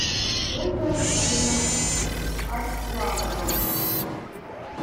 ольга алексеевна арсланова